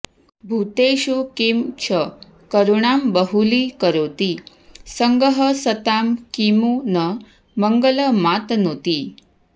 भूतेषु किं च करुणां बहुलीकरोति सङ्गः सतां किमु न मङ्गलमातनोति